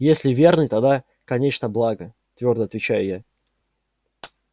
если верный тогда конечно благо твёрдо отвечаю я